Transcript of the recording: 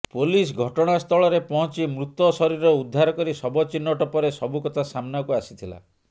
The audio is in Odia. ପୋଲିସ ଘଟଣାସ୍ଥଳରେ ପହଞ୍ଚି ମୃତ ଶରୀର ଉଦ୍ଧାର କରି ଶବ ଚିହ୍ନଟ ପରେ ସବୁ କଥା ସାମ୍ନାକୁ ଆସିଥିଲା